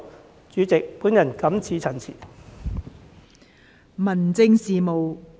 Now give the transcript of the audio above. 代理主席，我謹此陳辭。